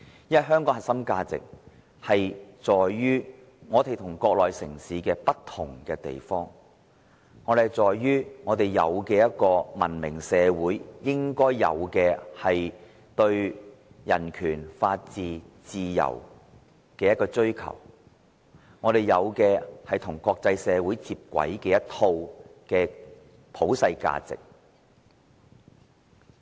因為香港的核心價值在於我們與國內城市不同之處，在於我們有文明社會應該有的對人權、法治和自由的追求，與國際社會接軌的一套普世價值。